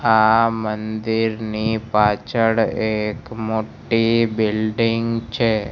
આ મંદિરની પાછળ એક મોટ્ટી બિલ્ડીંગ છે.